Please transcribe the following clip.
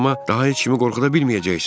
Amma daha heç kimi qorxuda bilməyəcəksən.